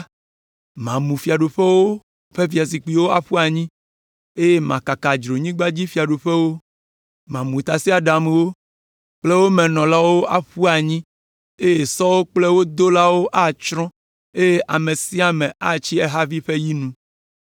Mamu fiaɖuƒewo ƒe fiazikpuiwo aƒu anyi eye makaka dzronyigbadzifiaɖuƒewo. Mamu tasiaɖamwo kple wo me nɔlawo aƒu anyi eye sɔwo kple wo dolawo atsrɔ̃ eye ame sia ame atsi ehavi ƒe yi nu.”